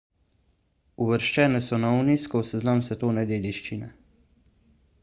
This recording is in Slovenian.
uvrščene so na unescov seznam svetovne dediščine